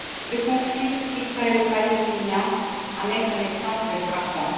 Le conflit israélo palestinien en est un exemple frappant.